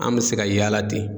An bɛ se ka yaala ten.